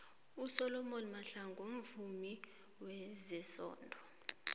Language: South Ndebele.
usolly mahlangu mvumi wezesondo